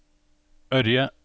Ørje